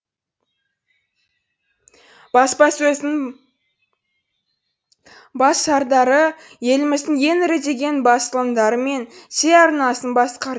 баспасөздің бас сардары еліміздің ең ірі деген басылымдары мен телеарнасын